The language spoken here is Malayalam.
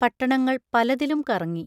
പട്ടണങ്ങൾ പലതിലും കറങ്ങി.